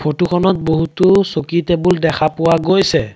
Photo খনত বহুতো চকী টেবুল দেখা পোৱা গৈছে।